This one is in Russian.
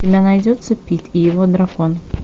у тебя найдется пит и его дракон